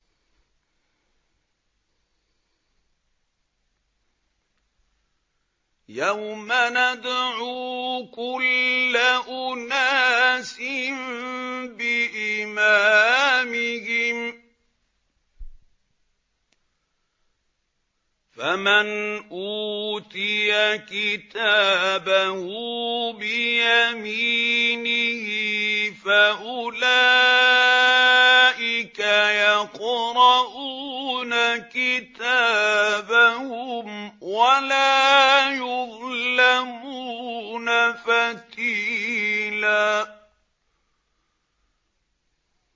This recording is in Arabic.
يَوْمَ نَدْعُو كُلَّ أُنَاسٍ بِإِمَامِهِمْ ۖ فَمَنْ أُوتِيَ كِتَابَهُ بِيَمِينِهِ فَأُولَٰئِكَ يَقْرَءُونَ كِتَابَهُمْ وَلَا يُظْلَمُونَ فَتِيلًا